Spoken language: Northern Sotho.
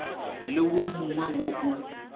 le wo mongwe wo o